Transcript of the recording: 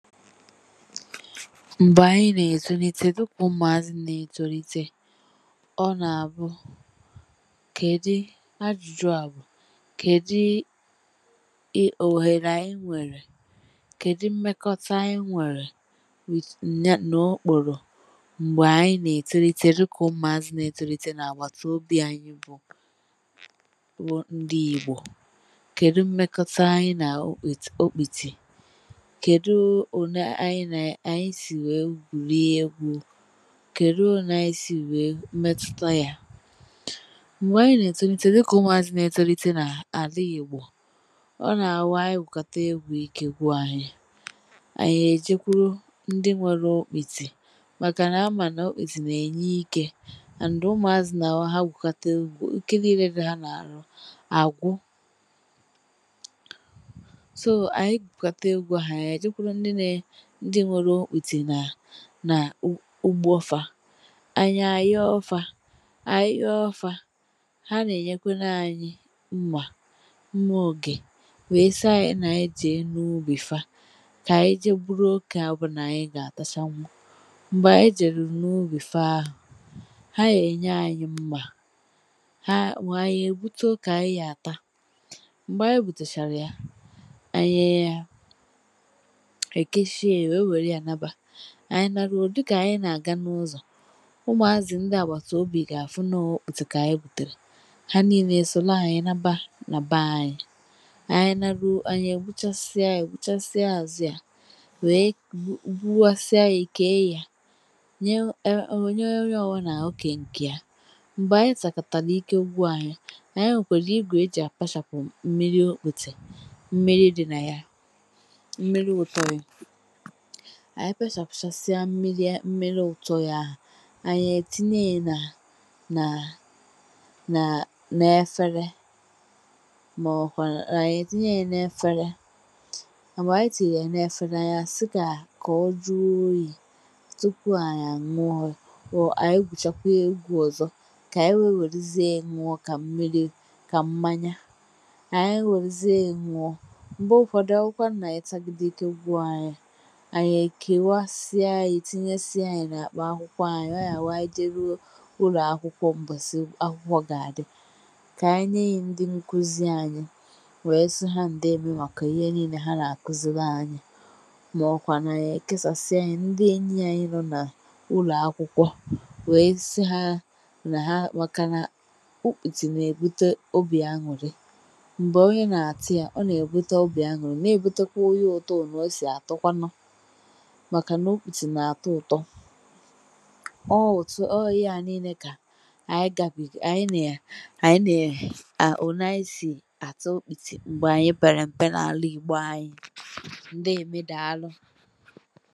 M̀gbè ànyị nà-èzulite dịkà ụmụazị nà-ètolite, ọ nà-àbụ, kèdi, ajụjụ à bụ, kèdi i òhèrè ànyị nwèrè? Kèdi mmekọta ànyị nwèrè nà okpòrò? M̀gbè ànyị nà-ètolite dịkà ụmụazị nà-ètolite nà-àgbàtà obi ànyị bụ bụ ndị Igbò. Kèdu mmekọta ànyị nà okpìti okpìtì? Kèdu ọ ne ànyị na, ànyị sì nwèe gwùrìe egwu? Kèdu ọ ne ànyị sì nwèe metuta ya? Mgbè ànyị nà-ètolite dịkà ụmụazị nà-ètọlite a nà-àla ìgbọ, ọ nà-àwụ anyị gwùkàta egwu ike gwụ ànyị, ànyị èjekwuru ndị nwèrù okpịtị màkà nà-ama nà okpịtị nà-enye ikè and ụmụazị nà-àwu ha gwùkata egwu ike niile dị ha nà-àrụ àgwụ. So ànyị gwùkata egwu a, ànyị gekwuru ndị nà, ndị nwere okpiti nà na ụ ụgbo fà, anyị anyo fà, anyị nyo fà, ha nà-enyekwere anyị mma, mma ogè wee si anyị, n'anyị je n’ugbị fa, kà ànyị je gburu okè ọbụnà ànyị gà-átachanwụ, m̀gbè ànyị jèrù n’ugbị fa ahụ, ha ya ènye anyị mma; ha nwèe anyị ègbute ọke ànyị ya àta, m̀gbè anyị gbùtechàrà ya, anyị ekechie ya wee weru ya naba, anyị narụo, dị kà ànyị nà-àga n’ụzọ ụmụazị ndị àgbàtà obì gà-àfụ n’okpiti kà ànyị gbùtèrè, ha niile èsòle ànyị nabà nà bà ànyị, ànyị narụo, ànyị ègbuchasịa ya, gbuchasịa azụ ya wèe gbu gbuwasịa ya kèe ya, nye nye onye ọwụ nà okè ǹkè ya. M̀gbè anyị tàkàtàrà ike ugwu ànyị, ànyị nwèkwèrè igwè ejì àpachàpụ mmiri okpiti, mmiri dị nà ya, mmiri ụtọ ya. Ànyị pèchàpụchàsịa mmiri mmiri ụtọ ya; ànyị ètinye ya nà nà nà nà-efere mà ọwụ kwànụ ànyị tinye ya n’efere, mgbe ànyị tìnyere ya n’efere anyị sị kà ka ọ jụọ oyi tupu ànyị àṅụọ ànyị gwùchakwà egwù ọzọ kà ànyị wee wèruziè ye ṅụọ kà mmiri kà mmanya, ànyị wèruziè ṅụọ. M̀gbè ụfódụ onwụkwánụ nà-anyị tàgide ike gwù anyị, anyị kèwasia ya tinyesie ya nà-àkpa akwụkwọ anyị, ọ ya wụ anyị jerụọ ụlọakwụkwọ mbọsì akwụkwọ gà-àdị kà anyị nye ye ndị nkuzi anyị wèe sị ha ǹdeèmè màkà ihe niilè ha nà-àkụzịlị anyị mà ọkwànụ anyị èkesàsịa ya ndị enyi ànyị nọ n'ụlọakwụkwọ wèe sị ha nà ha, màka na okpitì nà-èbute obì añụrị. M̀gbè onye nà-àtị a, ọ nà-èbute obì añụrị, na-èbutekwa onye ụtọùnù ọ sì àtọkwanụ, màkà n’okpitì nà-àtọ ụtọ. Ọ wụtụ, ọ inyà niilè kà ànyị gàbì, ànyị nà ànyị nà a, ò na ànyị sì àtụ okpìtì m̀gbè anyị perem̀pẹ nà àla igbo anyị. Ndeèmè dàalụ.